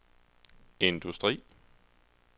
industri